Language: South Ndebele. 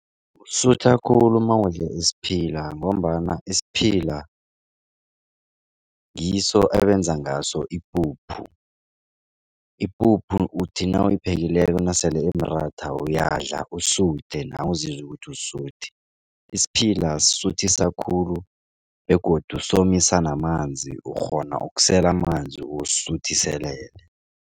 Usutha khulu mawudle isiphila ngombana isiphila ngiso ebenza ngaso ipuphu. Ipuphu uthi nawuyiphelileko nasele imratha uyadla usuthe nawe uzizwe ukuthi usuthi. Isiphila sisuthisa khulu begodu somisa namanzi ukghona ukusela amanzi usuthiselele.